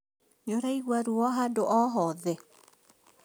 Nĩũraigua ruo handũ o hothe?